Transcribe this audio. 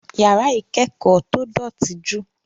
Yàrá ìkẹ́kọ̀ọ́ tó dọ̀tí ju.